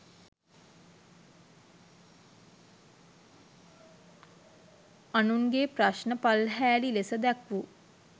අනුන්ගෙ ප්‍රශ්න පල්හෑලි ලෙස දැක්වූ